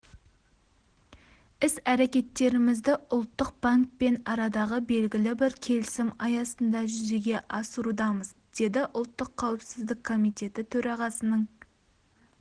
іс-әрекеттерімізді ұлттық банкпен арадағы белгілі бір келісім аясында жүзеге асырудамыз деді ұлттық қауіпсіздік комитеті төрағасының